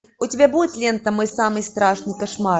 у тебя будет лента мой самый страшный кошмар